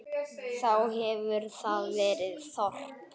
Þá hefur þar verið þorp.